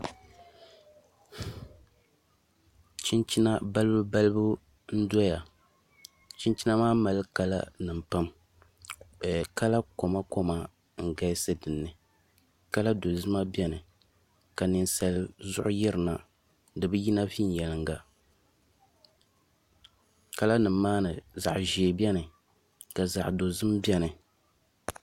Chinchina balibu balibu n doya chinchina maa mali kala nima pam kala koma koma n galisi dinni kala dozima beni ka ninsali zuɣu yirina dibiyina venyelinga kala nima maani zaɣa ʒee beni ka dozim beni.